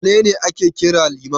Wane ne ake kira Liman?